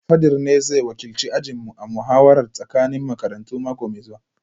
Fadir ne zai wakilci ajinmu a muhawarar tsakanin makarantu mako mai zuwa